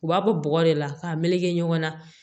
U b'a bɔ bɔgɔ de la k'a meleke ɲɔgɔn na